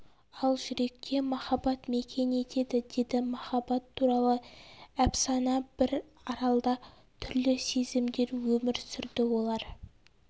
ал жүректе махаббат мекен етеді деді махаббат туралы әпсана бір аралда түрлі сезімдер өмір сүрді олар